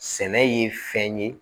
Sɛnɛ ye fɛn ye